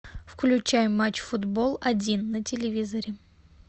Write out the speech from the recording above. включай матч футбол один на телевизоре